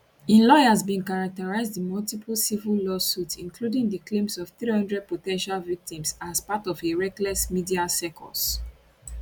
im lawyers bin characterise di multiple civil lawsuits including di claims of 300 po ten tial victims as part of a reckless media circus